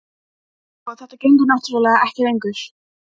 Sko. þetta gengur náttúrlega ekki lengur.